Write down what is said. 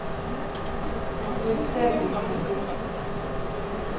Formater bunntekst